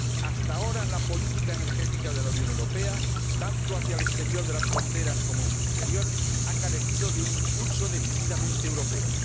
Hasta ahora, la política energética de la Unión Europea, tanto hacia el exterior de las fronteras como en su interior, ha carecido de un impulso decididamente europeo.